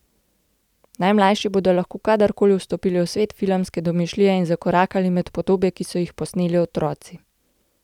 Najmlajši bodo lahko kadarkoli vstopili v svet filmske domišljije in zakorakali med podobe, ki so jih posneli otroci.